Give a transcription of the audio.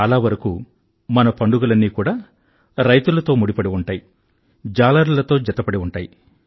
చాలావరకూ మన పండుగలన్నీ కూడా రైతులతో ముడిపడి ఉంటాయి జాలరులతో జతపడి ఉంటాయి